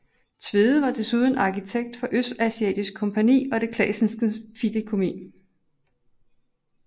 Tvede var desuden arkitekt for Østasiatisk Kompagni og Det Classenske Fideicommis